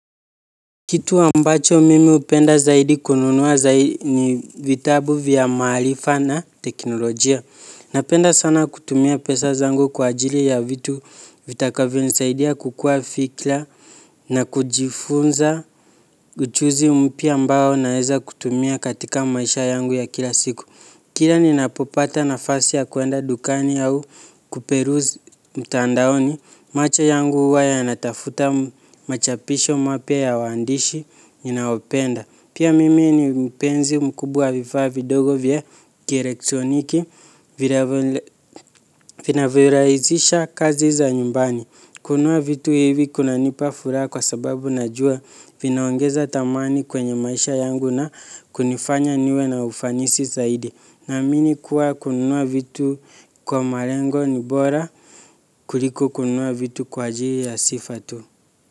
Kitu ambacho mimi upenda zaidi kununua zai ni vitabu vya maalifa na teknolojia. Napenda sana kutumia pesa zangu kwa ajili ya vitu vitakavyo nisaidia kukua fikla na kujifunza uchuzi mpya ambao naeza kutumia katika maisha yangu ya kila siku. Kila ninapopata nafasi ya kuenda dukani au kuperuse mtandaoni, macho yangu uwa yanatafuta machapisho mapya ya waandishi ninaopenda. Pia mimi ni mpenzi mkubwa wa vifaa vidogo vya kielektroniki vinavyorahisisha kazi za nyumbani. Kunua vitu hivi kunanipa furaa kwa sababu najua vinaongeza thamani kwenye maisha yangu na kunifanya niwe na ufanisi zaidi. Naamini kuwa kununua vitu kwa malengo ni bora kuliko kununua vitu kwa ajili ya sifa tu.